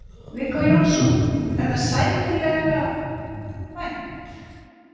Viggó Jónsson: Er það sæmilega vænt?